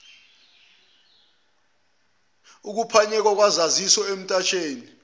ukuphanyekwa kwezaziso emtatshweni